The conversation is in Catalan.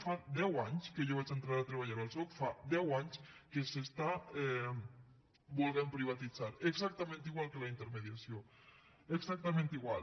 fa deu anys que jo vaig a entrar al soc fa deu anys que s’està volent privatitzar exactament igual que la intermediació exactament igual